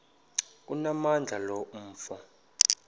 onamandla lo mfo